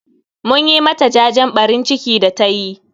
Mun yi ma ta jajen ɓarin ciki da tayi